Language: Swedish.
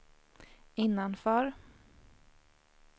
innanför